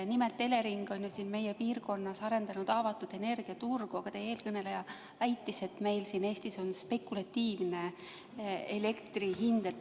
Nimelt, Elering on meie piirkonnas arendanud avatud energiaturgu, aga teie eelkõneleja väitis, et meil siin Eestis on spekulatiivne elektri hind.